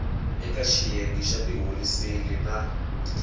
eka xiyenge xa tiholiseli na